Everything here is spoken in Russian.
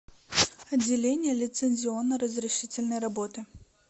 отделение лицензионно разрешительной работы